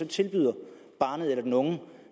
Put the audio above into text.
tilbyder barnet eller den unge